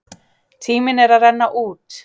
Tíminn er að renna út!